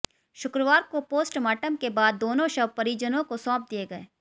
शुक्रवार को पोस्टमार्टम के बाद दोनों शव परिजनों को सौंप दिए गए